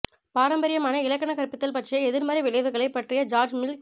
பாரம்பரியமான இலக்கண கற்பித்தல் பற்றிய எதிர்மறை விளைவுகளை பற்றிய ஜார்ஜ் மில்க்ஸ்